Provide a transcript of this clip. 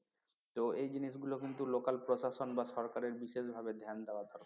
তো এই জিনিসগুলো কিন্তু local প্রশাসন বা সরকারের বিশেষভাবে ধ্যান দেওয়া দরকার